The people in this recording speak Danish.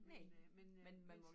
Næ men man må vel